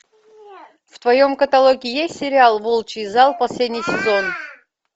в твоем каталоге есть сериал волчий зал последний сезон